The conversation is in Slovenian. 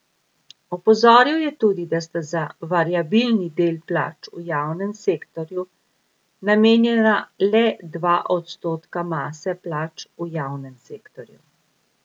Opozoril je tudi, da sta za variabilni del plač v javnem sektorju namenjena le dva odstotka mase plač v javnem sektorju.